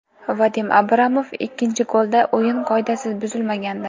Vadim Abramov: Ikkinchi golda o‘yin qoidasi buzilmagandi.